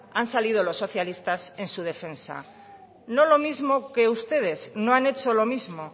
han salido los socialistas en su defensa no lo mismo que ustedes no han hecho lo mismo